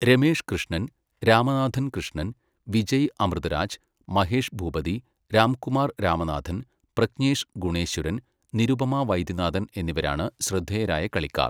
രമേഷ് കൃഷ്ണൻ, രാമനാഥൻ കൃഷ്ണൻ, വിജയ് അമൃതരാജ്, മഹേഷ് ഭൂപതി, രാംകുമാർ രാമനാഥൻ, പ്രജ്ഞേഷ് ഗുണേശ്വരൻ, നിരുപമ വൈദ്യനാഥൻ എന്നിവരാണ് ശ്രദ്ധേയരായ കളിക്കാർ.